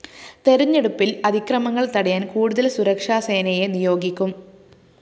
തെരഞ്ഞെടുപ്പില്‍ അതിക്രമങ്ങള്‍ തടയാന്‍ കൂടുതല്‍ സുരക്ഷാസേനയെ നിയോഗിക്കും